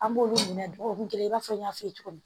An b'olu minɛ duw kun kelen i n'a fɔ n y'a f'i ye cogo min